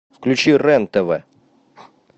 включи рен тв